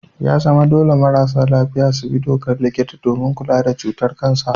Ya zama dole marasa lafiya su bi dokar likita domin kula da cutar kansa.